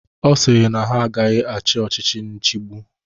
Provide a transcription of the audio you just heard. Ọ sịrị na ha agaghị achị ọchịchị nchibu.